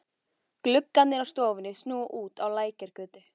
Gluggarnir á stofunni snúa út að Lækjargötu.